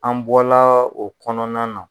An bɔla o kɔnɔna na